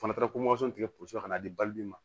Fana taara ko tigɛ potoso la ka na di bali bi ma